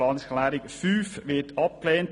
Planungserklärung 5 wird abgelehnt.